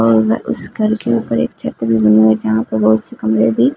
और उस घर के ऊपर एक छत्री बनी हुई है जहां पर बहोत से कमरे भी--